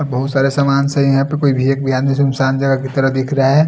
बहुत सारे सामान से यहाँ पे कोई भी आदमी सुमसान जगह की तरह दिख रहा है।